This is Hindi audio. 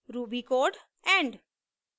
end